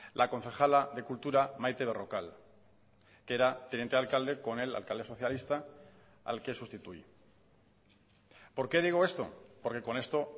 la concejala de cultura maite berrocal que era teniente alcalde con el alcalde socialista al que sustituye por qué digo esto porque con esto